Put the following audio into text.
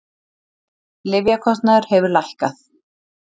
Lyfjakostnaður hefur lækkað